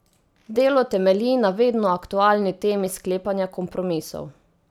Delo temelji na vedno aktualni temi sklepanja kompromisov.